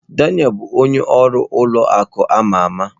Daniel bụ onye ọrụ ụlọ akụ ama ama.